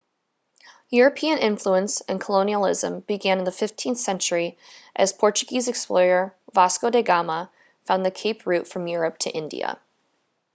european influence and colonialism began in the 15th century as portuguese explorer vasco da gama found the cape route from europe to india